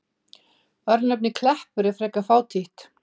Örnefnið Kleppur er frekar fátítt.